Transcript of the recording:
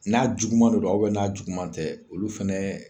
N'a juguman de do a ubɛ n'a juguman tɛ olu fɛnɛ